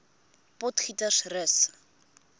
potgietersrus